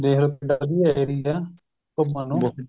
ਵਧੀਆ ਏਰੀਆ ਏ ਘੁੱਮਣ ਨੂੰ